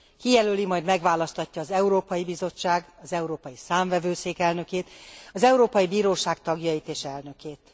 Kijelöli, majd megválasztatja az Európai Bizottság, az Európai Számvevőszék elnökét, az Európai Bíróság tagjait és elnökét.